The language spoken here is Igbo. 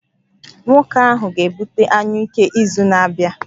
Nwoke ahụ ga-ebute anyụike izu na-abịa